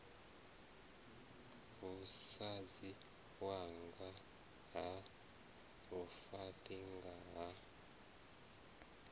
musadzi wanga ha lufaṱinga a